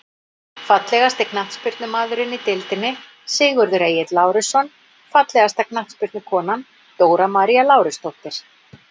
Fallegasti knattspyrnumaðurinn í deildinni: Sigurður Egill Lárusson Fallegasta knattspyrnukonan: Dóra María Lárusdóttir.